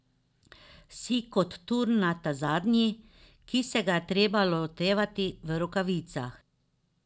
Si kot tur na ta zadnji, ki se ga je treba lotevati v rokavicah.